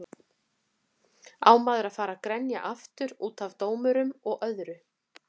Á maður að fara að grenja aftur útaf dómurum og öðru?